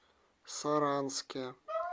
саранске